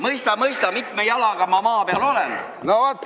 Mõista-mõista, mitme jalaga ma maa peal olen!